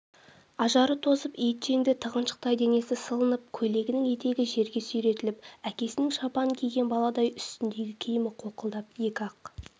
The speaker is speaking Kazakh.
ажары тозып етжеңді тығыншақтай денесі сылынып көйлегінің етегі жерге сүйретіліп әкесінің шапанын киген баладай үстіндегі киімі қолқылдап екі-ақ